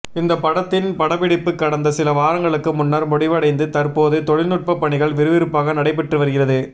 இந்த படத்தின் படப்பிடிப்பு கடந்த சில வாரங்களுக்கு முன்னர் முடிவடைந்து தற்போது தொழில்நுட்ப பணிகள் விறுவிறுப்பாக நடைபெற்று வருகிறது